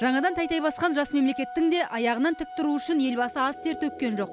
жаңадан тәй тәй басқан жас мемлекеттің де аяғынан тік тұруы үшін елбасы аз тер төккен жоқ